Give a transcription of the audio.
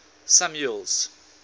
samuel's